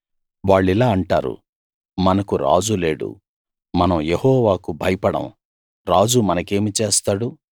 వాళ్ళిలా అంటారు మనకు రాజు లేడు మనం యెహోవాకు భయపడం రాజు మనకేమి చేస్తాడు